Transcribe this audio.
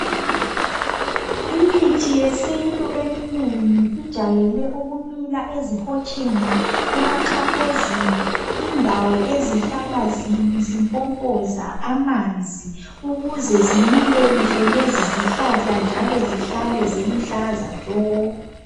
imithi yesintu eminengi ijayele ukumila ezihotsheni emaxhaphozini indawo ezihlala zimi zimpompoza amanzi ukuze zimile kuhle lezi zihlahla njalo zihlale ziluhlaza tshoko